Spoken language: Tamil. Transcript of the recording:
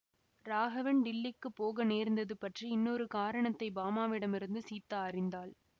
ராகவன் டில்லிக்குப் போக நேர்ந்தது பற்றி இன்னொரு காரணத்தை பாமாவிடமிருந்து சீதா அறிந்தாள்